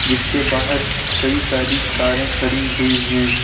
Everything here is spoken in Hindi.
इसके बाहर कई सारी कारें खड़ी हुई है।